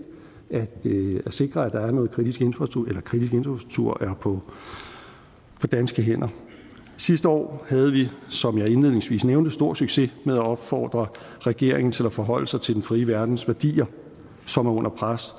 at sikre at kritisk infrastruktur er på danske hænder sidste år havde vi som jeg indledningsvis nævnte stor succes med at opfordre regeringen til at forholde sig til den frie verdens værdier som er under pres